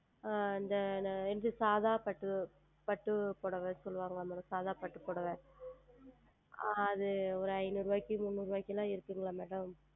ஆஹ் இந்த சாதாரண பட்டு புடவை சொல்லுவார்கள் அல்லவா Madam சாதாரண பட்டு புடவை அது ஓர் ஐந்நூறு ரூபாய்க்கு முன்னுறு ரூபாய்க்கு எல்லாம் இருக்கிறதா Madam